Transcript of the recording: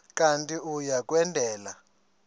kanti uia kwendela